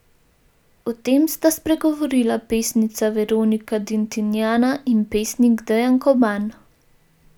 O tem sta spregovorila pesnica Veronika Dintinjana in pesnik Dejan Koban.